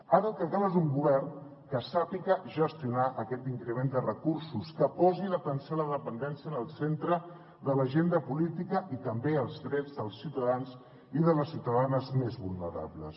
ara el que cal és un govern que sàpiga gestionar aquest increment de recursos que posi l’atenció a la dependència en el centre de l’agenda política i també els drets dels ciutadans i de les ciutadanes més vulnerables